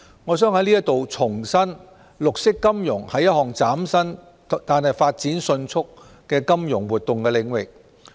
我想就此重申，綠色金融是一項嶄新但發展迅速的金融活動領域。